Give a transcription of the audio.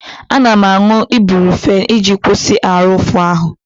Ana m aṅụ Ibrufen iji kwụsị ahụ ụfụ ahụ.